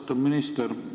Austatud minister!